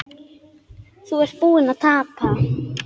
Þú ert búinn að tapa